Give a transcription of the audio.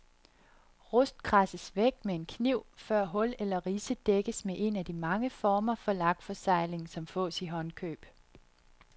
Rust kradses væk med en kniv, før hul eller ridse dækkes med en af de mange former for lakforsegling, som fås i håndkøb.